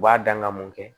U b'a dan ka mun kɛ